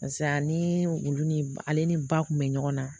Paseke ani olu ni ale ni ba kun bɛ ɲɔgɔn na